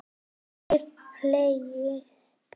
Mikið hlegið.